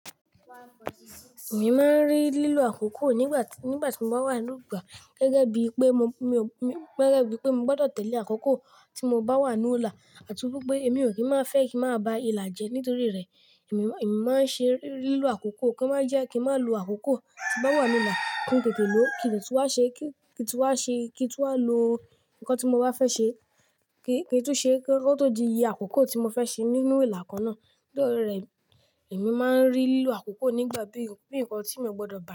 Èmi máa ń rí lílo àkókò nígbàtí, nígbà tí mo bá wà ní ìlú gba gẹ́gẹ́ bí pé mo, mi, gẹ́gẹ́ bí pé mo gbọ́dọ̀ tẹ̀lé àkókò tí mo bá wà nu ila àti wípé èmi ò kí ń má fẹ́ kí máa ba ìlà jẹ nítorí rẹ̀. Èmi, èmi máa ń ṣe rí, rí lílo àkókò kí ó má jẹ́ kí ń má lo àkókò tí mo bá wà nu ìlà ki n kètè ló, kí de tùn wá ṣe, kí, kí tu n wá ṣe, kí tu n wá lo nǹkan tí mo bá fẹ́ ṣe, kí tun ṣe kí ó tó di iye àkókò tí mo fẹ́ ṣe nínú ìlà kan náà. Nítorí rẹ̀, èmi máa ń rí lílo àkókò nígbà bí, bí nǹkan tí mo gbọ́dọ̀ bá.